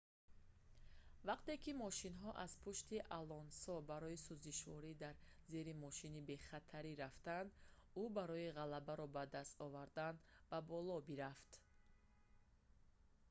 вақте ки мошинҳо аз пушти алонсо барои сӯзишворӣ дар зери мошини бехатарӣ рафтанд ӯ барои ғалабаро ба даст овардан ба боло бирафт